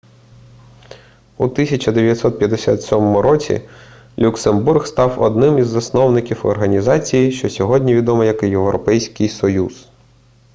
у 1957 році люксембург став одним із засновників організації що сьогодні відома як європейський союз